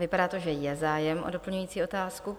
Vypadá to, že je zájem o doplňující otázku.